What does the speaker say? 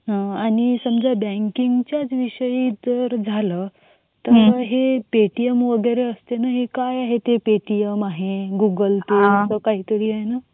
आणि समझ बँकिंगचा विषयी जर झाला तर मग हे पे टी एम वैगेरे असते ना हे काय आहे ते पे टी एम आहे गूगल पे आहे असा काही तरी आहे ना.